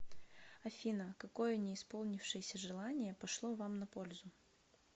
афина какое не исполнившееся желание пошло вам на пользу